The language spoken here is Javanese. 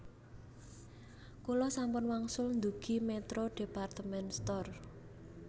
Kula sampun wangsul ndugi Metro department store